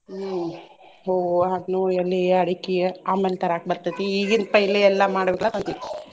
ಹ್ಮ್ ಹೂವು, ಹಣ್ಣು, ಎಲಿ, ಅಡಿಕಿ ಆಮ್ಯಾಲ್ ತರಾಕ್ ಬರ್ತೆತಿ ಈಗಿಂದ್ ಪೈಲೇ ಎಲ್ಲಾ ಮಾಡ್ಬೇಕಲ್ಲಾ ಅದೇ